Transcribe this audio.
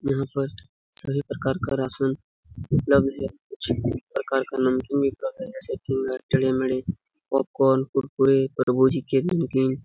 यहाँ पर सभी प्रकार का राशन उपलब्ध है कुछ प्रकार का नमकीन भी उपलब्ध है जैसे की टेढ़े मेढ़े पॉप कॉर्न कुरकुरे तरबूजी के नमकीन--